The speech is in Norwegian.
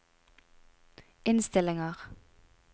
innstillinger